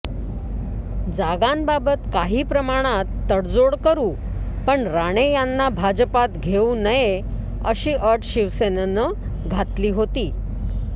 जागांबाबत काहीप्रमाणात तडजोड करु पण राणे यांना भाजपात घेऊ नये अशी अट शिवसेनेनं घातली होती